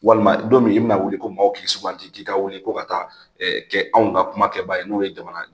Walima don min i bi na wuli ko maaw k'i suganti k'i ka wuli ko ka taa ɛɛ kɛ anw ka kumakɛba ye n'o ye jamana ye.